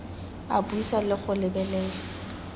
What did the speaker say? a buisa le go lebelela